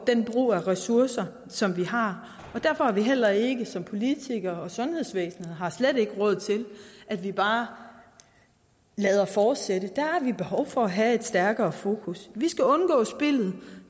den brug af ressourcer som vi har og derfor har vi heller ikke som politikere og sundhedsvæsen råd til at vi bare lader det fortsætte der har vi behov for at have et stærkere fokus vi skal undgå spildet